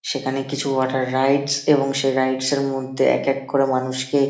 সেখানে কিছু water rides এবং সেই রাইডস -এর মধ্যে এক এক করে মানুষ কে।